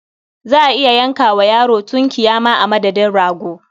Za a iya yanka wa yaro tunkiya ma a madadin rago.